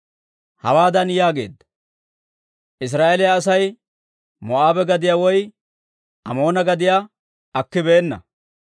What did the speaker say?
Hawaadan yaageedda; «Israa'eeliyaa Asay Moo'aabe gadiyaa woy Amoona gadiyaa akibeenna.